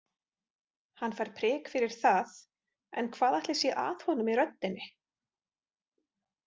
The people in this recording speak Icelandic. Hann fær prik fyrir það en hvað ætli sé að honum í röddinni?